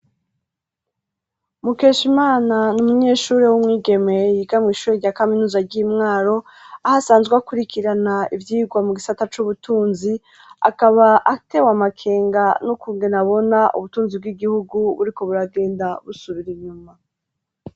Mukeshimana ni umunyeshuri w'umwigeme yiga mwishuri rya kaminuza ry'imwaro ahasanzwe akurikirana ivyigwa mu gisata c'ubutunzi akaba atewe amakenga n'ukungene abona ubutunzi bw'igihugu buriko buragenda busubira inyuma